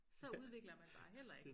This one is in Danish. Så udvikler man bare heller ik